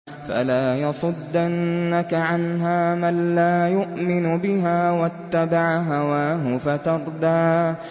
فَلَا يَصُدَّنَّكَ عَنْهَا مَن لَّا يُؤْمِنُ بِهَا وَاتَّبَعَ هَوَاهُ فَتَرْدَىٰ